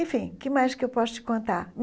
Enfim, o que mais que eu posso te contar?